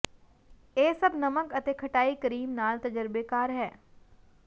ਇਹ ਸਭ ਨਮਕ ਅਤੇ ਖਟਾਈ ਕਰੀਮ ਨਾਲ ਤਜਰਬੇਕਾਰ ਹੈ